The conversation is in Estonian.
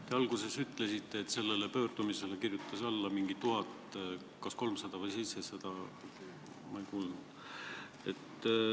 Te alguses ütlesite, et sellele pöördumisele kirjutas alla mingi 1300 või 1700 inimest, ma täpselt ei kuulnud.